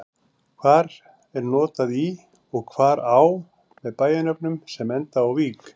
Hvar er notað í og hvar á með bæjarnöfnum sem enda á-vík?